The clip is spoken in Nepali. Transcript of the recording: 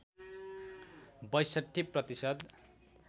६२ प्रतिशत